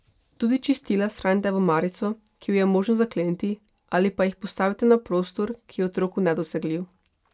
Tudi čistila shranite v omarico, ki jo je možno zakleniti, ali pa jih postavite na prostor, ki je otroku nedosegljiv.